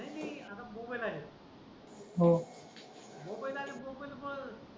नाही नाही आता मोबाईल आले मोबाईल आले मोबाईलवर